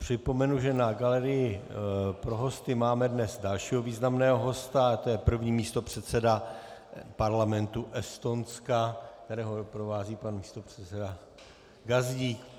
Připomenu, že na galerii pro hosty máme dnes dalšího významného hosta, je to první místopředseda Parlamentu Estonska, kterého doprovází pan místopředseda Gazdík.